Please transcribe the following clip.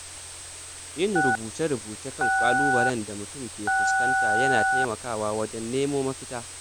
Yin rubuce-rubuce kan ƙalubalen da mutum ke fuskanta yana taimakawa wajen nemo mafita.